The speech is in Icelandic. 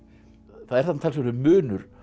það er þarna talsverður munur